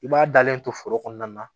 I b'a dalen to foro kɔnɔna na